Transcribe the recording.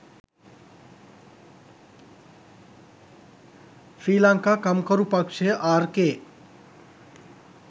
ශ්‍රී ලංකා කම්කරු පක්ෂය ආර්.කේ.